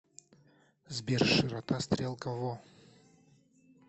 сбер широта стрелка во